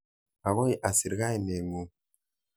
Akoi asir kainet ng'ung'.